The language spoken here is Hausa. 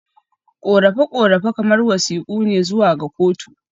Korafe-korafe kamar wasiƙu ne zuwa ga kotu.